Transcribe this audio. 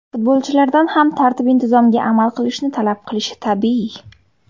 Futbolchilardan ham tartib intizomga amal qilishni talab qilishi tabiiy.